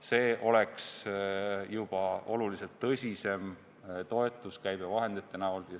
See oleks juba oluliselt tõsisem toetus käibevahendite kujul.